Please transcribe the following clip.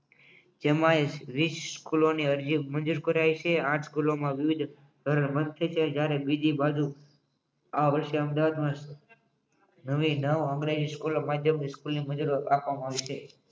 તેમાય વિસ સ્કુલોની અરજી મંજુર કરાવી હતી આથ સ્કુલ મા ત્યારે બીજી બાજુ આ વર્ષે અમદાવાદ અંગ્રેજી સ્કૂલો માટે